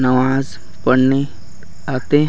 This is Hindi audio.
नमाज पढ़ने आते है।